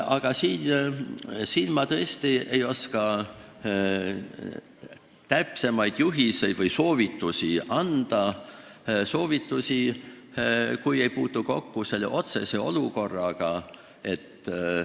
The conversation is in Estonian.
Aga ma tõesti ei oska täpsemaid juhiseid või soovitusi anda, kui ma ei ole otse selle olukorraga kokku puutunud.